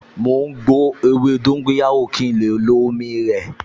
Mò ń gbo ewé dóńgóyárò kí n lè lo omi rẹ̀